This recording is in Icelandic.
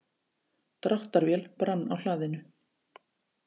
Dráttarvél brann á hlaðinu